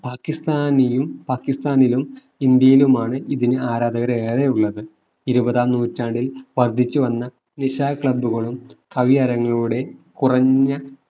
പാക്കിസ്ഥാനിയും പാക്കിസ്ഥാനിലും ഇന്ത്യയിലും ആണ് ഇതിനു ആരാധകരെ ഏറെയുള്ളത് ഇരുപതാം നൂറ്റാണ്ടിൽ വർധിച്ചു വന്ന നിശാ club കളും കവിയരങ്ങുകളുടെയും കുറഞ്ഞ